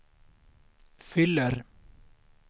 fyller